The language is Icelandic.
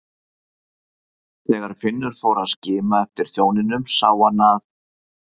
Þegar Finnur fór að skima eftir þjóninum sá hann að